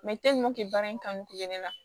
baara in kanu to ye ne la